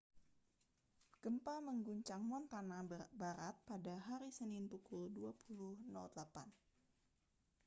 gempa mengguncang montana barat pada hari senin pukul 20.08